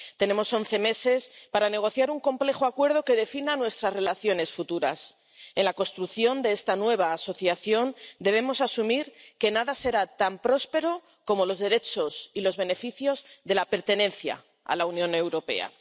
Tenemos once meses para negociar un complejo acuerdo que defina nuestras relaciones futuras. En la construcción de esta nueva asociación debemos asumir que nada será tan próspero como los derechos y los beneficios de la pertenencia a la Unión Europea.